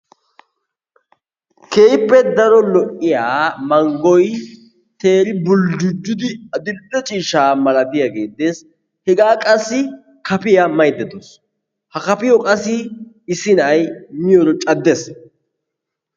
Keehippe daro lo"iyaa manggoy teeri buljujidi adil"e ciishshaa malatiyaage beettees. Hegaa qassi kafiyaa maydda dawus. Ha kafiyoo qassi issi na'ay miyooro caddees.